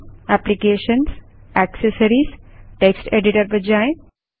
applications GT accessories GT text editor पर जाएँ